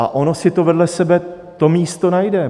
A ono si to vedle sebe to místo najde.